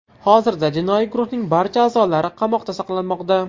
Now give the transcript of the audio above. Hozirda jinoiy guruhning barcha a’zolari qamoqda saqlanmoqda.